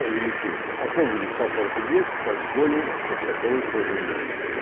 увеличение особого дискомфорта нет как более как таковой тоже нет